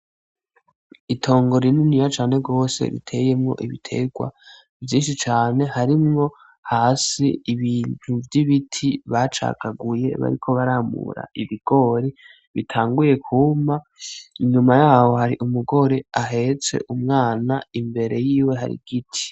Itongo rininiya cane gose riteyemwo ibiterwa vyinshi cane harimwo hasi ibintu vy'ibiti bacagaguye bariko baramura ibigori bitanguye kwuma, inyuma yaho hari umugore ahetse umwana imbere y'iwe hari igiti.